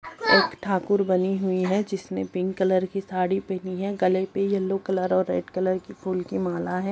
एक ठाकुर बनी हुई है जिसने पिंक कलर की साड़ी पहनी है गले पे येलो कलर और रेड कलर की फूल की माला है।